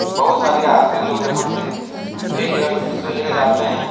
बहोत सारे यात्री लोग यहाँ से एक जगह से दुसरे जगह जाते हैं।